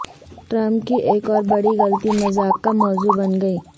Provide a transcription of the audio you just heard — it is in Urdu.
ٹرمپ کی ایک اور بڑی غلطی مذاق کا موضوع بن گئی